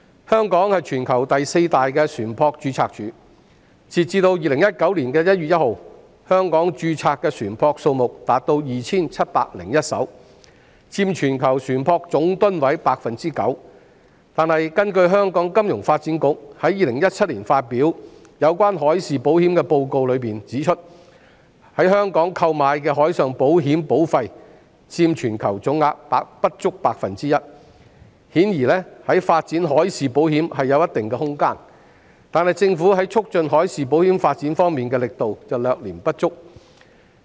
香港是全球第四大船舶註冊處，截至2019年1月1日，香港註冊的船舶數目達 2,701 艘，佔全球船舶總噸位 9%， 但根據香港金融發展局在2017年發表的海事保險報告，在香港購買海事保險的保費佔全球總額不足 1%， 顯然在發展海事保險方面尚有一些空間，但政府在促進海事保險發展方面的力度略嫌不足。